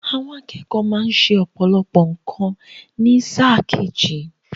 Àwọn akẹ́kọ̀ọ́ má ṣẹ ọ̀pọ̀lọpọ̀ nǹkan ní sáà kejì.